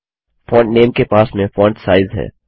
font name के पास में फोंट साइज है